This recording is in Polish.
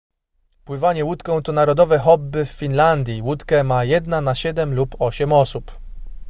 pływanie łódką to narodowe hobby w finlandii łódkę ma jedna na siedem lub osiem osób